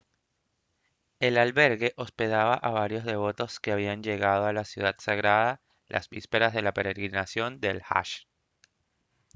el albergue hospedaba a varios devotos que habían llegado a la ciudad sagrada las vísperas de la peregrinación del hajj